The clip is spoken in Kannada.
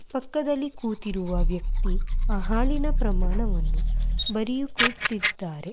ಪಕ್ಕದಲ್ಲಿ ಕೂತಿರುವ ವ್ಯಕ್ತಿ ಹಾಲಿನ ಪ್ರಮಾಣವನ್ನು ಬರೆಯುತ್ತಾ ಕೂತಿದ್ದಾರೆ.